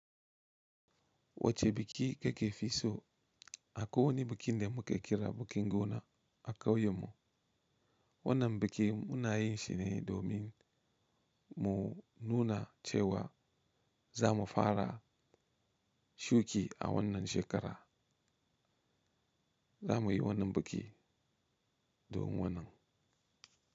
Wace biki kake fi so? Akwai wani biki da mu ke kira bikin gona a kauyen mu. Wannan bikin mu na yin shi ne domin mu nuna cewa za mu fara shuki a wannan shekara. Za mu yi wannan bikin domin wannan.